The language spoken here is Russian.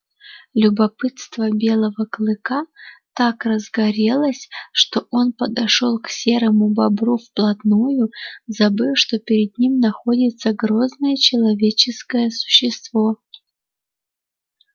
любопытство белого клыка так разгорелось что он подошёл к серому бобру вплотную забыв что перед ним находится грозное человеческое существо